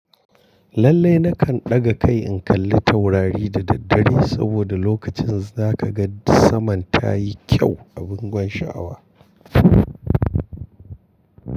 Lallai nakan ɗaga kai in kalli taurari da daddare saboda lokacin za ka ga saman ta yi kyau a bangon sha'awa.